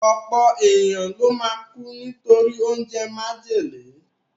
Ọ̀pọ̀ èèyàn ló máa kú nítorí oúnjẹ májèlé